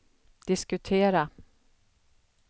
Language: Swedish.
diskutera